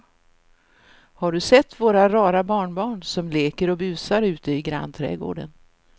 Har du sett våra rara barnbarn som leker och busar ute i grannträdgården!